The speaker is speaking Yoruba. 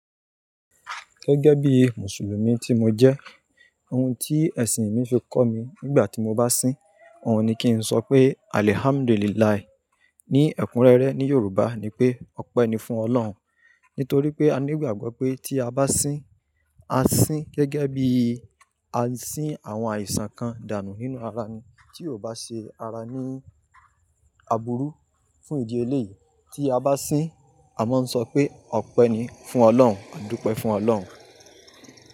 Gẹ́gẹ́ bí Mùsùlùmí tí mo jẹ́, ohun tí ẹ̀sìn mi fi kọ́ mi nígbà tí mo bá sín, òun ni kí n sọ pé AlhamduliLahi. Ni ẹ̀kúnrẹ́rẹ́ ní Yorùbá ni pé "Ọpẹ́ ni fún Ọlọ́run". Nítorí pé a ní ìgbàgbọ́ pé tí a bá sín, a sín gẹ́gẹ́ bí a sín àwọn àìsàn kan dànù nínú ara ni tí ò bá ṣe ara ní àbúrú fún ìdí eléyìí. Tí a bá sín, a máa ń sọ pé Ọpẹ́ ni fún Ọlọ́run, àdúpẹ́ fún Ọlọ́run.